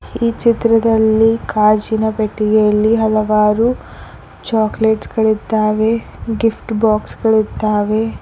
ಈ ಚಿತ್ರದಲ್ಲಿ ಕಾಜಿನ ಪೆಟ್ಟಿಗೆಯಲ್ಲಿ ಹಲವಾರು ಚಾಕಲೇಟ್ಸ್ ಗಳಿದ್ದಾವೆ ಗಿಫ್ಟ್ ಬಾಕ್ಸ್ ಗಳಿದ್ದಾವೆ.